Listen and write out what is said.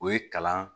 O ye kalan